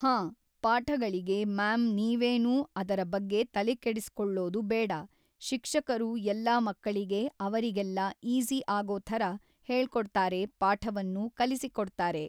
ಹಾಂ ಪಾಠಗಳಿಗೆ ಮ್ಯಾಮ್ ನೀವೇನೂ ಅದರ ಬಗ್ಗೆ ತಲೆ ಕೆಡಿಸ್ಕೊಳ್ಳೋದು ಬೇಡ ಶಿಕ್ಷಕರು ಎಲ್ಲ ಮಕ್ಕಳಿಗೆ ಅವರಿಗೆಲ್ಲ ಈಸಿ ಆಗೋ ಥರ ಹೇಳ್ಕೊಡ್ತಾರೆ ಪಾಠವನ್ನು ಕಲಿಸಿಕೊಡ್ತಾರೆ